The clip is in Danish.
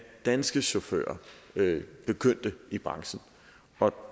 danske chauffører begyndte i branchen og